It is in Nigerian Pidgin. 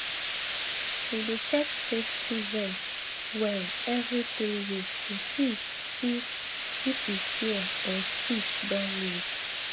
we dey check safety vest well every three weeks to see if if e tear or stitch don loose